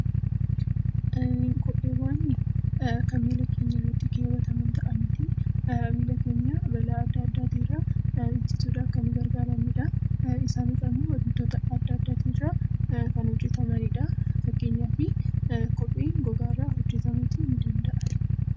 Kopheewwan kan miilla keenya irratti keewwatamu ta'aniiti miilla keenya balaa adda addaatii irraa ittisuudhaaf kan nu gargaaranidha. Isaanis immoo wantoota adda addaatii irraa kan hojjetamanidha. Fakkeenyaaf kopheen gogaa irraa hojjetamuutii ni danda'a.